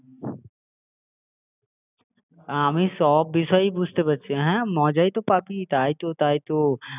বুঝতে পারছো তো বিষয়টা আমি বেশ মজাই পাই আমি সব বিষয়ই বুঝতে পারছি হ্যাঁ মজাই তো পাবি তাই তো তাই তো